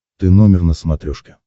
ты номер на смотрешке